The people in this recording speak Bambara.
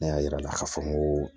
Ne y'a yir'a la k'a fɔ ko